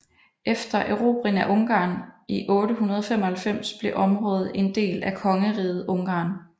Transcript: Efter Erobringen af Ungarn i 895 blev området en del af Kongeriget Ungarn